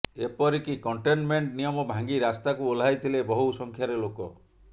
ଏପରିକି କଣ୍ଟେନମେଣ୍ଟ ନିୟମ ଭାଙ୍ଗି ରାସ୍ତାକୁ ଓହ୍ଲାଇଥିଲେ ବହୁ ସଂଖ୍ୟାରେ ଲୋକ